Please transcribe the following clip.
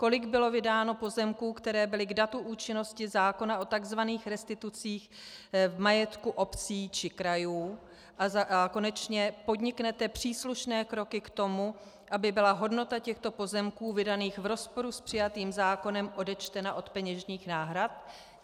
Kolik bylo vydáno pozemků, které byly k datu účinnosti zákona o tzv. restitucích v majetku obcí či krajů, a konečně, podniknete příslušné kroky k tomu, aby byla hodnota těchto pozemků vydaných v rozporu s přijatým zákonem odečtena od peněžitých náhrad?